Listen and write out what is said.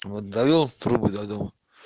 вот довёл трубы до дома